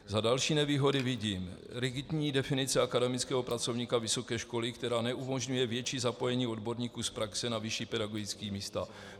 Za další nevýhody vidím: rigidní definice akademického pracovníka vysoké školy, která neumožňuje větší zapojení odborníků z praxe na vyšší pedagogická místa.